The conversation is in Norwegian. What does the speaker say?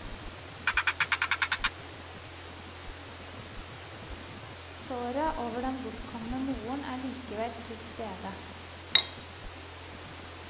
Såret over den bortkomne moren er likevel til stede.